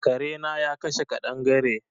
Kare na ya kashe kaɗangare.